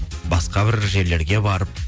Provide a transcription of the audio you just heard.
басқа бір жерлерге барып